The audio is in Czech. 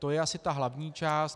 To je asi ta hlavní část.